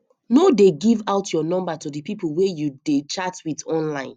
no dey give out your number to the people wey you dey chat with online